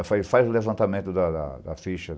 Eu falei, faz o levantamento da da da ficha.